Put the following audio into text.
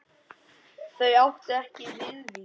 Þau áttu ekki Viðvík.